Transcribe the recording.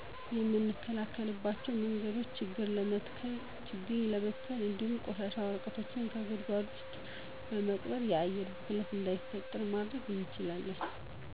የምንከላከልባቸው መንገዶቾ ችግኝ በመትከል እንዱሁም ቆሻሻ ወረቀቶችን በጉድጓድ ውስጥ በመቅበር። የአየር ብክለት እዳይፈጠር ማድረግ እንችላለን።